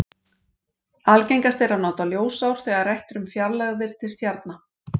Algengast er að nota ljósár þegar rætt er um fjarlægðir til stjarna.